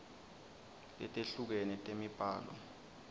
letehlukene temibhalo sib